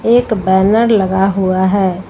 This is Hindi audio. एक बैनर लगा हुआ है।